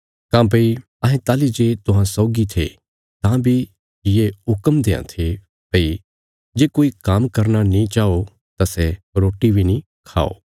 काँह्भई अहें ताहली जे तुहां सौगी थे तां बी ये हुक्म देआं थे भई जे कोई काम्म करना नीं चाओ तां सै रोटी बी नीं खाओ